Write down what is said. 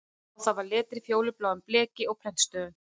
Á það var letrað fjólubláu bleki og prentstöfum